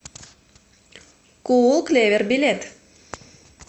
куулклевер билет